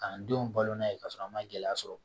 K'an denw balo n'a ye k'a sɔrɔ an ma gɛlɛya sɔrɔ